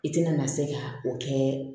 I tɛna na se ka o kɛ